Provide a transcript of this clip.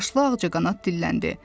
Yaşlı ağcaqanad dilləndi.